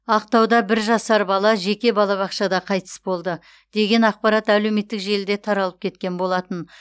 ақтауда бір жасар бала жеке балабақшада қайтыс болды деген ақпарат әлеуметтік желіде таралып кеткен болатын